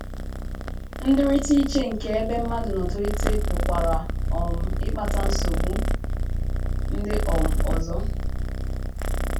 Ndịrịta iche nke ebe mmadụ nọ tolite pụkwara um ịkpata nsogbu ndị um ọzọ.